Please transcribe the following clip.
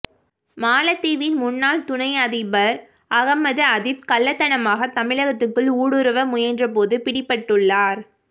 மாலத்தீவின் முன்னாள் துணை அதிபர் அகமது அதீப் கள்ளத்தனமாகத் தமிழகத்துக்குள் ஊடுருவ முயன்றபோது பிடிபட்டுள்ளார்